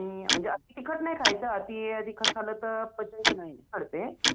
हुं म्हणजे अति तिखट नाही खायचं तिखट खाल्लं तर पचायचं